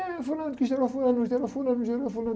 É fulano que gerou fulano, gerou fulano, gerou fulano...